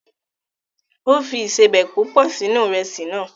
O fi ìsebẹ̀ púpọ̀ sínú Ìrẹ́sì náà